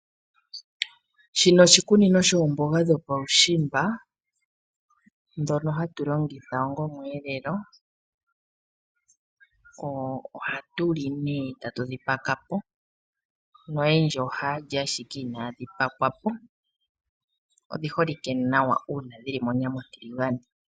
Shika oshikunino shomboga dhuusimba dhoka ha tulongitha ongaa omwelelo ohadhi liwa dhatemwa yamwe ohaya vulu okulya inadhi temwa nosho holike kaantu oyendji. Odhina uundjolowele momalutu nohadhi vulu wo oku telekelwa mona ontiligane.